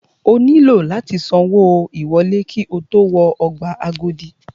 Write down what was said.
O nílò láti san owó ìwọlé ki o tó wọ ọgbà Agodi.